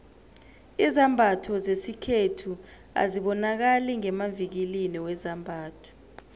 izambatho zesikhethu azibonakali ngemavikilini wezambatho